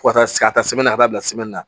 Fo ka taa se ka taa ka taa bila na